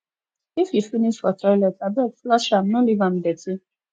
if you finish for toilet abeg flush am no leave am dirty